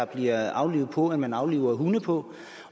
bliver aflivet på end man afliver hunde på